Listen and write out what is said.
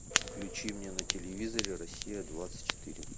включи мне на телевизоре россия двадцать четыре